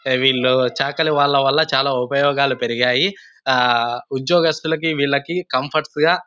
హే వీళ్ళు చాకల వాళ్ళ వాళ్ళ చాల ఉపయోగాలు పెరిగాయి ఆ ఉద్యోగస్తులకు వేళ్ళకి కంఫోర్ట్స్ గ --